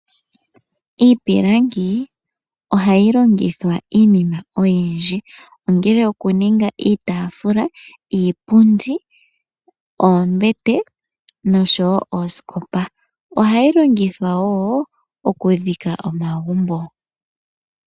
Iipilangi ohayi longithwa iinima oyindji. Ngaashi oku ninga iitaafula, niipundi, oombete noosikopa. Ohayi longithwa woo oku dhika omagumbo.